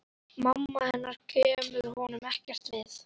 Mamma hennar kemur honum ekkert við.